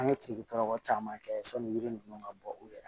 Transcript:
An ye tirikitɔrɔkɔ caman kɛ sɔnni ninnu ka bɔ u yɛrɛ ye